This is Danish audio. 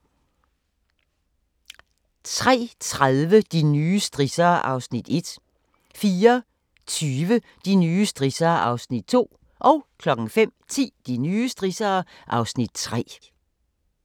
03:30: De nye strissere (Afs. 1) 04:20: De nye strissere (Afs. 2) 05:10: De nye strissere (Afs. 3)